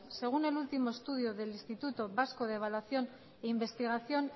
según el último estudio del instituto vasco de evaluación e investigación